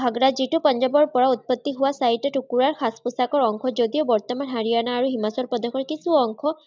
ঘাগৰা, যিটো পাঞ্জাৱৰ পৰা উৎপত্তি হোৱা চাৰিটা টুকুৰা সাজ-পোচাকৰ অংশ যদিও বৰ্তমান হাৰিয়ানা আৰু হিমাচল প্ৰদেশৰ কিছু অংশ